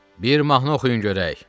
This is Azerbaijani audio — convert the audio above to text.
Bir mahnı oxuyun görək.